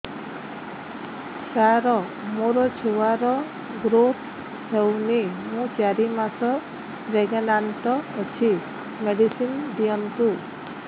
ସାର ମୋର ଛୁଆ ର ଗ୍ରୋଥ ହଉନି ମୁ ଚାରି ମାସ ପ୍ରେଗନାଂଟ ଅଛି ମେଡିସିନ ଦିଅନ୍ତୁ